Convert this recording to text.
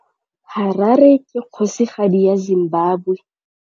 Harare ke kgosigadi ya Zimbabwe.